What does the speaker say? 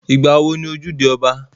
Ìgbà wo ni ojúde ọba?